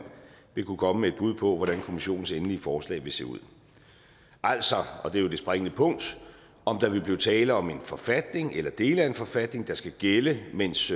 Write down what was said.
vil kunne komme med et bud på hvordan kommissionens endelige forslag vil se ud altså og det er jo det springende punkt om der vil blive tale om en forfatning eller dele af en forfatning der skal gælde mens